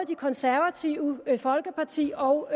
det konservative folkeparti og